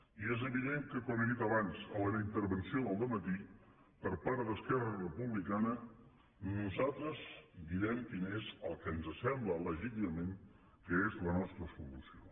i és evident que com he dit abans en la meva intervenció del dematí per part d’esquerra republicana nosaltres direm quina és la que ens sembla legítimament que és la nostra solució